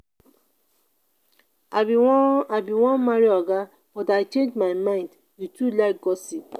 i bin wan i bin wan marry oga but i change my mind you too like gossip